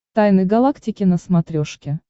тайны галактики на смотрешке